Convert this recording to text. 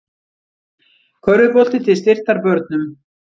Körfubolti til styrktar börnum